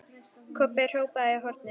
Kobbi hrópaði í hornið.